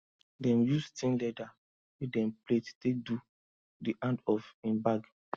dem use thin leather wey dem plait take do di hand of him bag